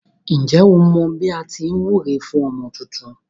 Ǹjẹ́ o mọ bí à á ti wúre fún ọmọ tuntun.